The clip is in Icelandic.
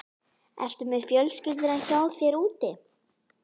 Ertu með fjölskylduna hjá þér úti?